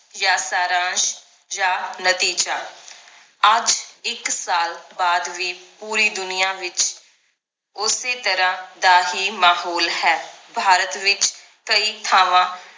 ਯਾਂ ਸਾਰਾਂਸ਼ ਯਾਂ ਨਤੀਜਾ ਅੱਜ ਇੱਕ ਸਾਲ ਬਾਅਦ ਵੀ ਪੂਰੀ ਦੁਨੀਆਂ ਵਿਚ ਉਸੇ ਤਰਾਹ ਦਾ ਹੀ ਮਾਹੌਲ ਹੈ ਭਾਰਤ ਵਿਚ ਕਈ ਥਾਵਾਂ